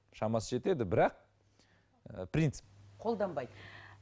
шамасы жетеді бірақ ы принцип қолданбайды